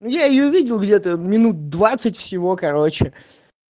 ну я её видел где-то минут двадцать всего короче